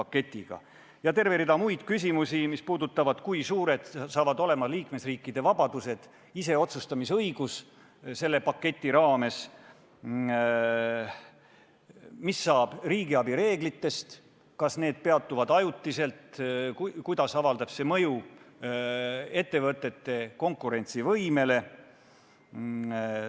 Lisaks on terve rida muid küsimusi, mis puudutavad näiteks seda, kui suur saab selle paketi raames olema liikmesriikide vabadus, iseotsustamise õigus, ning mis saab riigiabi reeglitest – kas need peatuvad ajutiselt ja kuidas avaldab see mõju ettevõtete konkurentsivõimele?